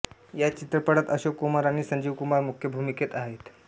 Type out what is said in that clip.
या चित्रपटात अशोक कुमार आणि संजीव कुमार मुख्य भुमीकेत आहेत